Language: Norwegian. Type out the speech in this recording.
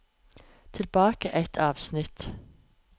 Tilbake ett avsnitt